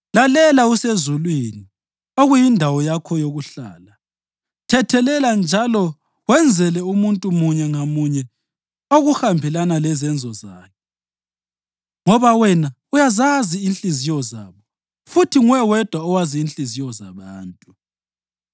lalela usezulwini, okuyindawo yakho yokuhlala. Thethelela njalo wenzele umuntu munye ngamunye okuhambelana lezenzo zakhe ngoba wena uyazazi inhliziyo zabo (futhi nguwe wedwa owazi inhliziyo zabantu),